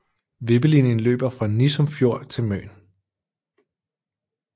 Vippelinjen løber fra Nissum Fjord til Møn